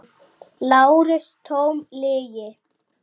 LÁRUS: Tóm lygi!